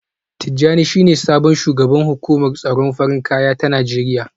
Tijjani shine sabon shugaban hukumar tsaron farin kaya ta Najeriya